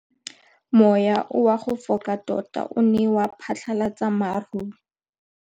Mowa o wa go foka tota o ne wa phatlalatsa maru.